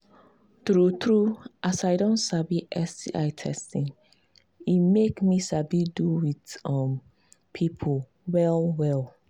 true true as i don sabi sti testing e make me sabi do with um people well well